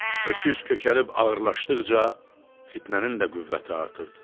Öküz kökəlib ağırlaşdıqca fitnənin də qüvvəti artırdı.